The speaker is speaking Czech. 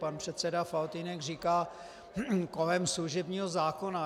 Pan předseda Faltýnek říká kolem služebního zákona.